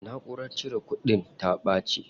Naʼurara cire kudin ta ɓaci.